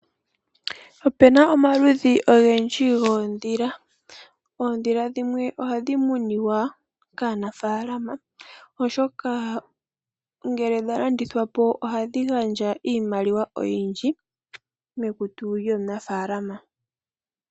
Opena omaludhi ogendji goondhila. Ondhila dhimwe oha dhi muniwa kaanafalama oshoka ngele dha landithwa po oha dhi gandja oshimaliwa oyindji mekutu lyomunaafalama.